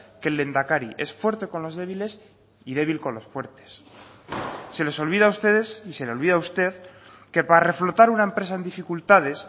que el lehendakari es fuerte con los débiles y débil con los fuertes se les olvida a ustedes y se le olvida a usted que para reflotar una empresa en dificultades